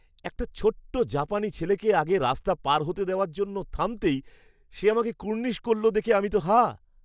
একটা ছোট্ট জাপানি ছেলেকে আগে রাস্তা পার হতে দেওয়ার জন্য থামতেই, সে আমাকে কুর্নিশ করল দেখে আমি তো হাঁ!